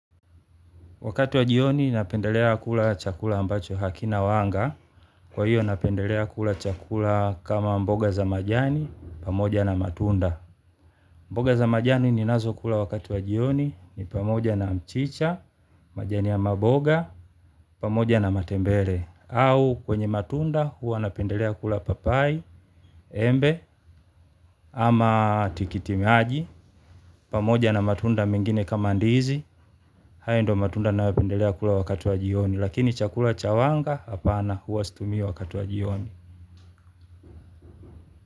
Wakatu wa jioni napendelea kula chakula ambacho hakina wanga, kwa hiyo napendelea kula chakula kama mboga za majani, pamoja na matunda. Mboga za majani ninazo kula wakati wa jioni, ni pamoja na mchicha, majani ya maboga, pamoja na matembele. Au kwenye matunda huwa napendelea kula papai, embe, ama tikitimaji, pamoja na matunda mengine kama ndizi, haya ndio matunda ninayopendelea kula wakati wa jioni. Lakini chakula cha wanga hapana huwa situmii wakati wa jioni.